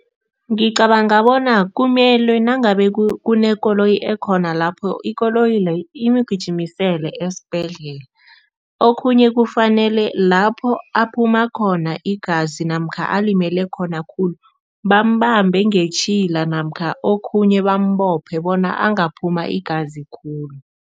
Ngicabanga bona kumelwe nangabe kunekoloyi ekhona lapho ikoloyi leyo imgijimisele esibhedlela. Okhunye, kufanele lapho aphuma khona igazi namkha alimele khona khulu, bambambe ngetjhila namkha okhunye bambophe bona angaphuma igazi khulu.